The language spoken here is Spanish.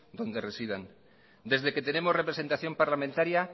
donde residan desde que tenemos representación parlamentaria